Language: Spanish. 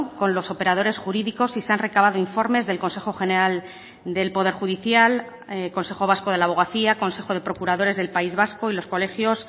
con los operadores jurídicos y se han recabado informes del consejo general del poder judicial consejo vasco de la abogacía consejo de procuradores del país vasco y los colegios